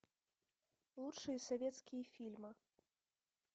лучшие советские фильмы